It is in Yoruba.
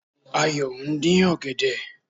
Ayò ndín ọ̀gẹ̀dẹ̀